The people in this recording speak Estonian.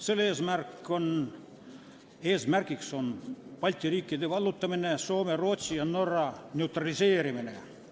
Selle eesmärk on Balti riikide vallutamine ning Soome, Rootsi ja Norra neutraliseerimine.